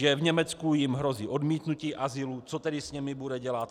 Že v Německu jim hrozí odmítnutí azylu, co tedy s nimi bude dělat?